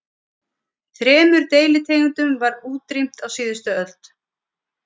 Þremur deilitegundum var útrýmt á síðustu öld.